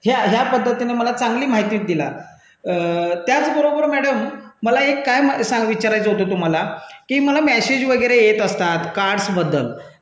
या पद्धतीने मला चांगली माहिती दिली त्याचबरोबर मॅडम मला एक काय विचारायचं होतं तुम्हाला की मला मेसेज वगैरे येत असतात कार्ड बद्दल कार्ड